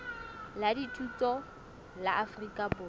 la dithuto la afrika borwa